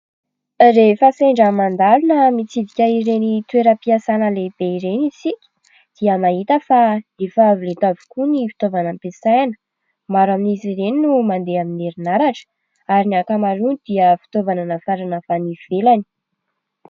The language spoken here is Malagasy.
Rehefa sendra mandalo na mitsidika ireny toeram-piasana lehibe ireny isika dia mahita fa efa avo lenta avokoa ny fitaovana ampiasaina. Maro amin'izy ireny no mandeha amin'ny herinaratra ary ny ankamarony dia fitaovana nafarana avy any ivelany.